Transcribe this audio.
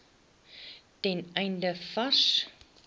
ten einde vars